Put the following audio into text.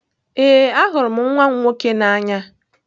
Ee, ahụrụ m nwa m nwoke n'anya.